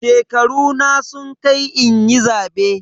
Shekaruna sun kai inyi zabe.